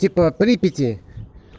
типа припяти